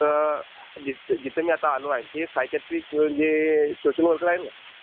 तर जिथे मी आता आलो आहे ना तिथे सायक्याट्रिक सोशल वर्कर आहे ना.